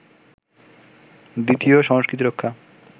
দ্বিতীয় সংস্কৃতি রক্ষা